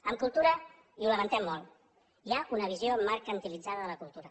en cultura i ho lamentem molt hi ha una visió mercantilitzada de la cultura